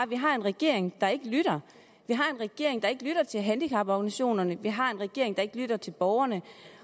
vi har en regering der ikke lytter vi har en regering der ikke lytter til handicaporganisationerne vi har en regering der ikke lytter til borgerne